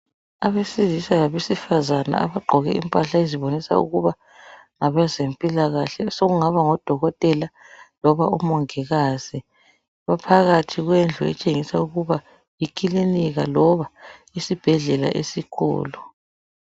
Abesilisa labesifazana abagqoke impahla ezibonisa ukuthi ngabezempilakahle, sokungaba ngodokotela loba omongikazi. Baphakathi kwendlu etshengisa ukuba yikilinika loba isibhedlela esikhulu.